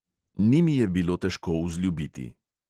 Ni mi je bilo težko vzljubiti.